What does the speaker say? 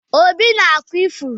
Obi na-akwa ifuru.